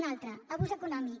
una altra abús econòmic